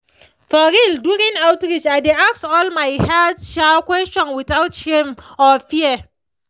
for real during outreach i dey ask all my health questions without shame or fear.